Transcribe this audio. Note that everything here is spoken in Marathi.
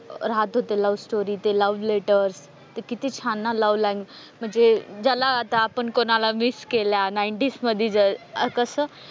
राहत होत लव्हस्टोरी ते लव्ह लेटर ते किती छान ना लव्ह म्हणजे ज्याला आता आपण कोणाला मिस केलं नाईंटीज मध्ये जर कस,